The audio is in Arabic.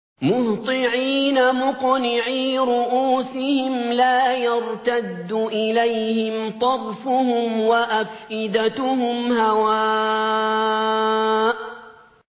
مُهْطِعِينَ مُقْنِعِي رُءُوسِهِمْ لَا يَرْتَدُّ إِلَيْهِمْ طَرْفُهُمْ ۖ وَأَفْئِدَتُهُمْ هَوَاءٌ